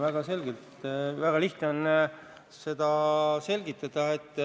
Jaa, seda on väga lihtne selgitada.